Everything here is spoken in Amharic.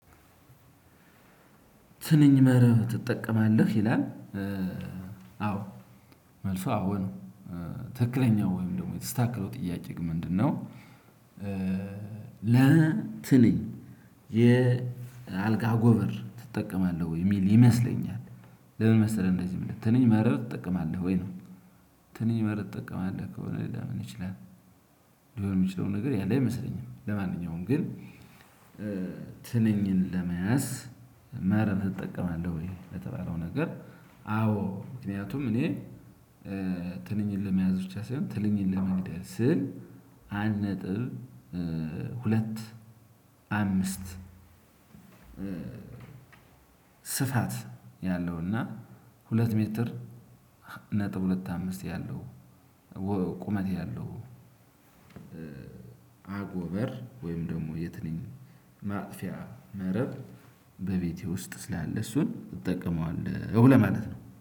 ትንኝ መረብ ትጠቀማለህ ይላል? አዎ መልሱ አዎ ነው። ትክክለኛው ወይም ደግሞ የተስተካከለው ጥያቄ ምንድነው? ለትንኝ የአልጋ አጎበር ትጠቀማለህ ወይ የሚል ይመስለኛል። ለምን መሰለህ እንደዚህ ትንኝ መረብ ትጠቀማለህ ወይ ነው? ትንኝ መረብ ትጠቀማለህ ከሆነ ሌላ ምን ይችላል የሚችለው ነገር ያለ አይመስለኝም። ለማንኛውም ግን ትንኝን ለመያዝ መረብ ትጠቀማለህ ወይ ለተባለው ነገር? አዎ ምክንያቱም እኔ ትንኝን ለመያዝ ብቻ ሳይሆን ትንንሽ ለመግደል ስል። አንድ ነጥብ ሁለት አምስት ስፋት ያለው እና ሁለት ሜትር ነጥብ ሁለት አምስት ያለው ቁመት ያለው። አጎበር ወይም ደግሞ የትንኝ ማጥፊያ መረብ በቤቴ ውስጥ ስላለ እሱን እጠቀመዋለው ለማለት ነው